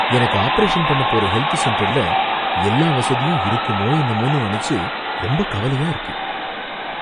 எனக்கு ஆபரேஷன் பண்ணப் போற ஹெல்த் சென்டர்ல எல்லா வசதியும் இருக்குமோ என்னமோன்னு நனைச்சு ரொம்ப கவலையா இருக்கு.